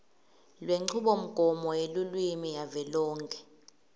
lwenchubomgomo yelulwimi yavelonkhe